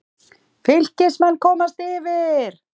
Fylkismenn komast yfir.